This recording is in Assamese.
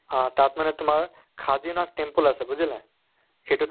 আহ তাত মানে তোমাৰ খাদিনাথ temple আছে বুজিলা? সেইটো